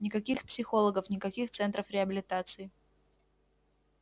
никаких психологов никаких центров реабилитации